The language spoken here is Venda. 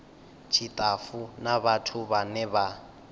tshitafu na vhathu vhane vha